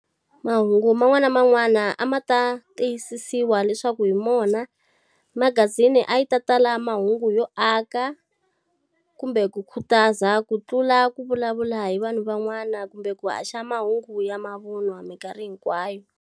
Mahungu man'wana na man'wana a ma ta tiyisisiwa leswaku hi wona. Magazini a yi ta tala mahungu yo aka kumbe ku khutaza ku tlula ku vulavula hi vanhu van'wana kumbe ku haxa mahungu ya mavun'wa minkarhi hinkwayo.